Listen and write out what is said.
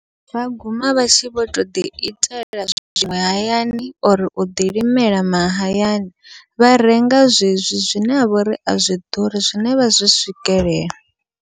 Vha guma vha tshi vho toḓi itela zwiṅwe hayani uri uḓi limela mahayani, vha renga zwezwi zwine ha vhori azwi ḓuri zwine vha zwi swikelela.